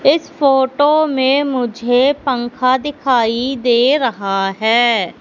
इस फोटो में मुझे पंखा दिखाई दे रहा हैं।